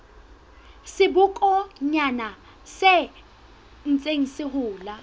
sebokonyana se ntseng se hola